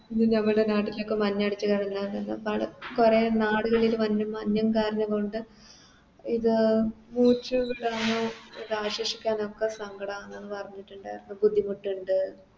ഇതിൻറെവിടെ നാട്ടിലൊക്കെ മഞ്ഞടിച്ച് കൊറേ നാടുകളില് മഞ്ഞും കാരണം കൊണ്ട് ഇത് ഇടാനോ ഇതാഘോഷിക്കാനോ ഒക്കെ സങ്കടാണെന്ന് പറഞ്ഞിട്ടുണ്ടാർന്ന് ബുദ്ധിമുട്ട്ണ്ട്